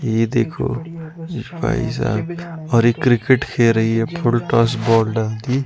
ये देखो भाई साहब और ये क्रिकेट खेल रही है फुल टॉस बॉल डालती--